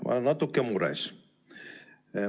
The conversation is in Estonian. Ma olen natuke mures.